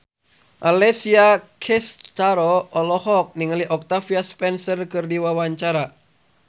Alessia Cestaro olohok ningali Octavia Spencer keur diwawancara